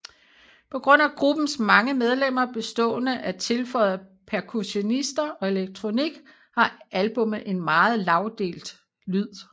På grund af gruppens mange medlemmer bestående af tilføjede percussionister og elektronik har albummet en meget lagdelt lyd